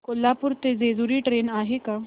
कोल्हापूर ते जेजुरी ट्रेन आहे का